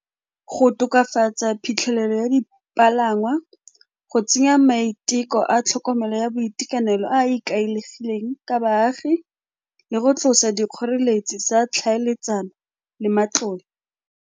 Go tokafatsa phitlhelelo ya dipalangwa, go tsenya maiteko a tlhokomelo ya boitekanelo a a ikaegileng ka baagi le go tlosa dikgoreletsi tsa tlhaeletsano le matlole.